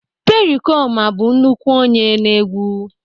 pericoma bụ nnukwu onye n'egwu